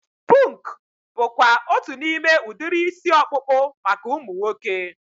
Punk bụkwa otu n'ime udiri isi ọkpụkpụ maka ụmụ nwoke